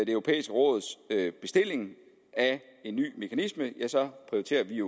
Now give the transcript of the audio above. europæiske råds bestilling af en ny mekanisme ja så prioriterer vi